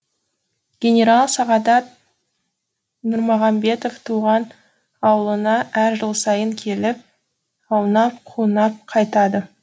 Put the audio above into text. генерал сағадат нұрмағамбетов туған ауылына әр жыл сайын келіп аунап қунап қайтады